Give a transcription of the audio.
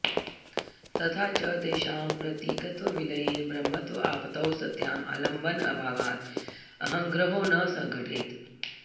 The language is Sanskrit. तथा च तेषां प्रतीकत्वविलयेन ब्रह्मत्व आपतौ सत्यां आलम्बन अभावात् अहङ्ग्रहो न सघटेत